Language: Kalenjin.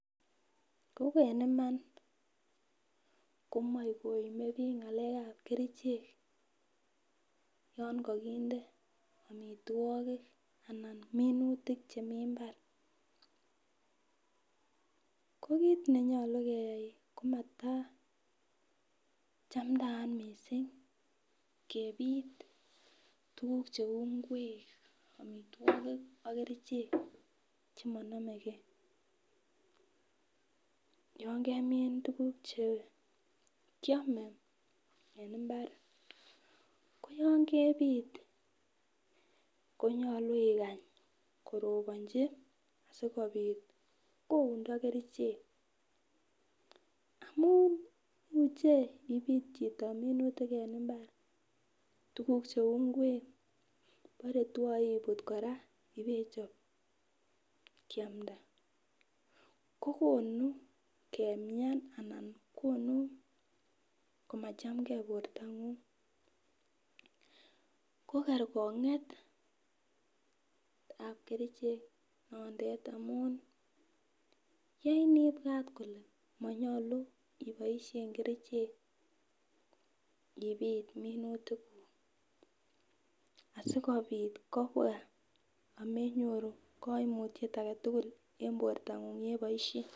Ko en Iman komoi komie bik ngalekab kerichek yon kokinde omitwokik anan omitwokik anan minutik chemii imbar ko kit nenyolu keyai komataa chamdayat missing kepit tukuk cheu ingwek omitwokik ok kerichek chemonomegee, yon kemin tukuk che kiome en imbar koyon kepit konyolu ikany koroponji sikopit koundo kerichek amun muche ipit chito minutik en imbar tukuk cheu ingwek bore twoe iput koraa ibechop kiamda kokonu kemian ana konu komachamgee bortangung ko kerkongetab kerichek notet amun yoin ibwat kole monyolu iboishen kerichek ipit minutik kuk asikopit kobwa amenyou koimutyet agetutuk en bortangung yeboishen.